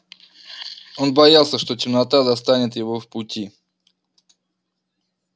он боялся что темнота застанет его в пути